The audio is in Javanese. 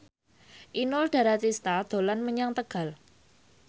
Inul Daratista dolan menyang Tegal